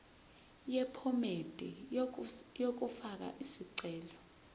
yephomedi yokufaka isicelo